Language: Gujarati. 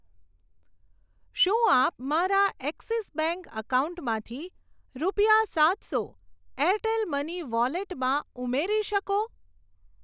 શું આપ મારા એક્સિસ બેંક એકાઉન્ટમાંથી રૂપિયા સાતસો એરટેલ મની વોલેટમાં ઉમેરી શકો?